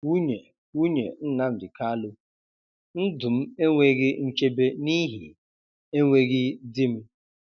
Nwunye Nwunye Nnamdi Kalu: Ndụ m enweghị nchebe n'ihi enweghị di m